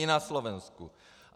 I na Slovensku.